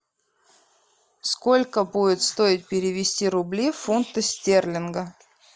сколько будет стоить перевести рубли в фунты стерлинга